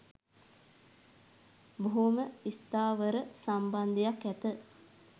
බොහොම ස්ථාවර සම්බන්ධයක් ඇත